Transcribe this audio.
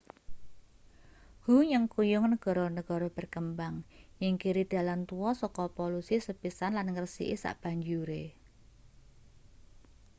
hu nyengkuyung negara-negara berkembang nyingkiri dalan tua saka polusi sepisan lan ngresiki sabanjure